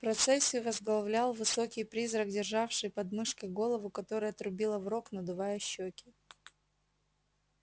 процессию возглавлял высокий призрак державший под мышкой голову которая трубила в рог надувая щеки